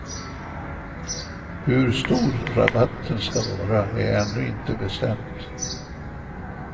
Hur stor rabatten ska vara är ännu inte bestämt.